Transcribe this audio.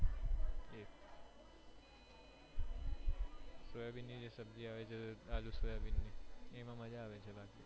soybean ની જે સબ્જી આવે છે આલૂ સોયાબીન ની એ માં મજ્જા આવે છે બાકી